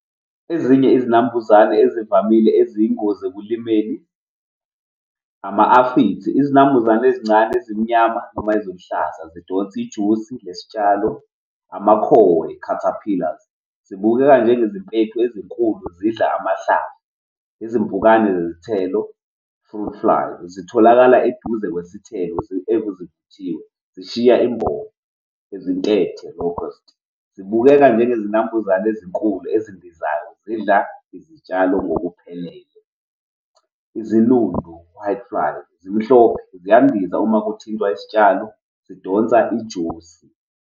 Ezinye izinambuzane ezivamile eziyingozi ekulimeni ama-aphids. Izinambuzane ezincane ezimnyama noma eziluhlaza zidonsa ijusi yesitshalo ama-caterpillars zibukeka njenge izimpethu ezinkulu zidla amahlamvu izimpukane zezithelo-fruit flowers zitholakala eduze kwesithelo ezivuthiwe zishiya imbobo izintethe, locust. Zibukeka njengezinambuzane ezinkulu ezindizayo zidla izitshalo ngokuphelele. Izinundu, white flies, zimhlophe ziyandiza uma kuthintwa isitshalo zidonsa ijusi.